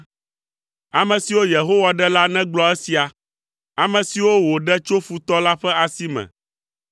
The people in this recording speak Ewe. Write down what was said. Ame siwo Yehowa ɖe la negblɔ esia; ame siwo wòɖe tso futɔ la ƒe asi me,